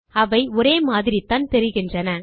அவை ஒரே மாதிரித்தான் தெரிகின்றன